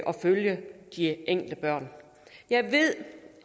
følge de enkelte børn jeg ved